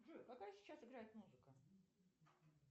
джой какая сейчас играет музыка